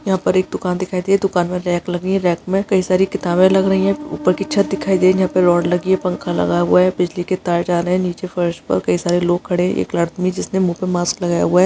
हीया पर एक दुकान दिखाई दे दुकान में रैक लगी है रैक में कई सारी किताबे लग रही है। ऊपर की छत दिखाई दे रही है यहाँ पे रड लगी है पंखा लगा हुआ है बिजली के तार जा रहे है नीचे फर्श पे कई सारे लोग खड़े एक आदमी जिसने मुंह पे मास्क लगाया हुआ है।